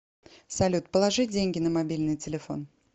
салют положи деньги на мобильный телефон